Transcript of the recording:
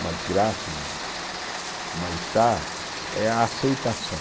uma desgraça, um mal-estar, é a aceitação.